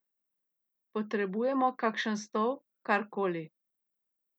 Potrebujemo kakšen stol, kar koli?